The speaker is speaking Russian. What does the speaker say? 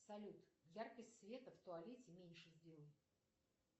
салют яркость света в туалете меньше сделай